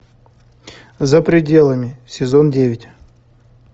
за пределами сезон девять